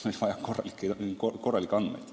Mida ma silmas pean?